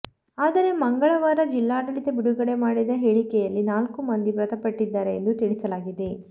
ಆದರೆ ಮಂಗಳವಾರ ಜಿಲ್ಲಾಡಳಿತ ಬಿಡುಗಡೆ ಮಾಡಿದ ಹೇಳಿಕೆಯಲ್ಲಿ ನಾಲ್ಕು ಮಂದಿ ಮೃತಪಟ್ಟಿದ್ದಾರೆ ಎಂದು ತಿಳಿಸಲಾಗಿದೆ